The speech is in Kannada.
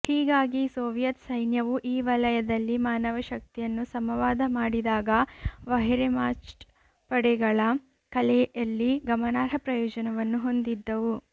ಹೀಗಾಗಿ ಸೋವಿಯತ್ ಸೈನ್ಯವು ಈ ವಲಯದಲ್ಲಿ ಮಾನವಶಕ್ತಿಯನ್ನು ಸಮವಾದ ಮಾಡಿದಾಗ ವೆಹ್ರೆಮಾಚ್ಟ್ ಪಡೆಗಳ ಕಲೆಯಲ್ಲಿ ಗಮನಾರ್ಹ ಪ್ರಯೋಜನವನ್ನು ಹೊಂದಿದ್ದವು